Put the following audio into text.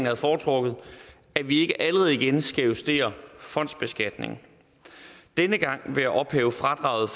havde foretrukket at vi ikke allerede igen skal justere fondsbeskatningen denne gang ved at ophæve fradraget